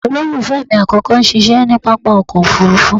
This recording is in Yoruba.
Olólùfẹ́ mi àkọ́kọ́ ń ṣiṣẹ́ ní pápákọ̀ òfuurufú